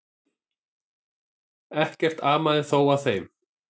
Ekkert amaði þó að þeim.